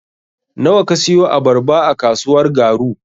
Nawa ka siyo abarba a kasuwar Garu.